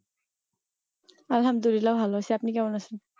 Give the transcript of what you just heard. আলহামদুলিল্লাহ্‌ ভালো আছি আপনি কেমন আছেন?